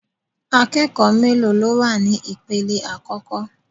Akẹ́kọ̀ọ́ mélòó ló wà ní ipele àkọ́kọ́?